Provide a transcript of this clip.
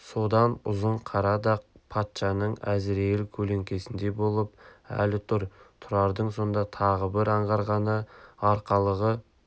содан ұзын қара дақ патшаның әзірейіл көлеңкесіндей болып әлі тұр тұрардың сонда тағы бір аңғарғаны арқалығы